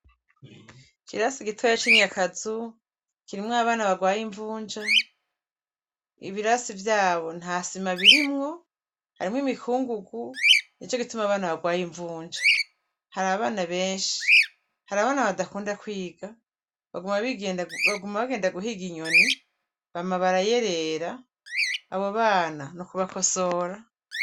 Ikirasi gitoya cinyakazu kirimwo abana barwaye imvunja ibirasi vyabo ntasima birimwo harimwo imikungugu nicogituma abana barwaye imvunja harabana benshi harabana badakunda kwiga baguma bagendera guhiga inyoni bama barayerera abobana nukubakosora